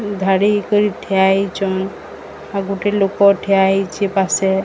ଧାଡି କରି ଠିଆ ହେଇଚନ୍ ଆଉ ଗୋଟେ ଲୋକ ଠିଆ ହେଇଛି ପାଶେ।